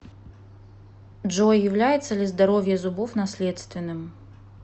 джой является ли здоровье зубов наследственным